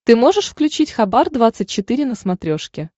ты можешь включить хабар двадцать четыре на смотрешке